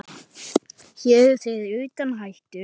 Hér eru þeir utan hættu.